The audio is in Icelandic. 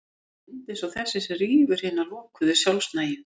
Það er mynd eins og þessi sem rýfur hina lokuðu, sjálfnægu